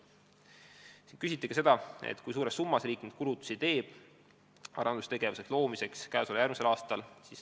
Siin küsiti ka seda, kui suures summas riik kulutusi teeb, et asjaomane arendustöö käesoleval ja järgmisel aastal ellu viia.